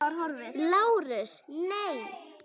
LÁRUS: Nei.